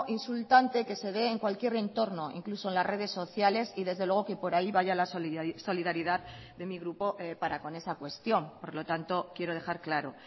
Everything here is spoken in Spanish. insultante que se dé en cualquier entorno incluso en las redes sociales y desde luego que por ahí vaya la solidaridad de mi grupo para con esa cuestión por lo tanto quiero dejar claro